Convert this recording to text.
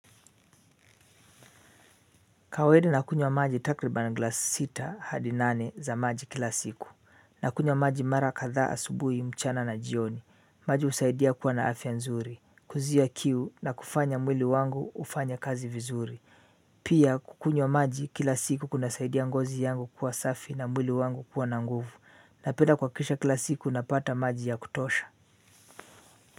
Kawaida ninakunywa maji takriban glass sita hadi nane za maji kila siku. Ninakunywa maji mara kadhaa asubuhi mchana na jioni. Maji husaidia kuwa na afya nzuri. Kuzuia kiu na kufanya mwili wangu ufanye kazi vizuri. Pia kukunywa maji kila siku kunasaidia ngozi yangu kuwa safi na mwili wangu kuwa na nguvu. Ninapenda kuhakisha kila siku ninapata maji ya kutosha.